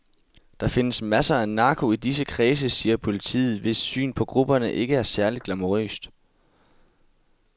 Der findes masser af narko i disse kredse, siger politiet, hvis syn på gruppen ikke er særligt glamourøst.